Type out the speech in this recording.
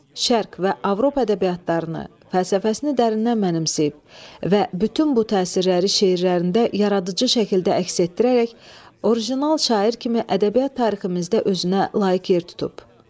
Türk şərq və Avropa ədəbiyyatlarını, fəlsəfəsini dərindən mənimsəyib və bütün bu təsirləri şeirlərində yaradıcı şəkildə əks etdirərək original şair kimi ədəbiyyat tariximizdə özünə layiq yer tutub.